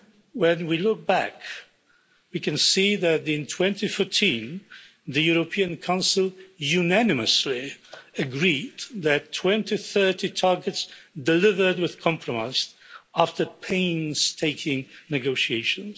When we look back, we can see that in 2014 the European Council unanimously agreed the 2030 targets delivered with compromise after painstaking negotiations.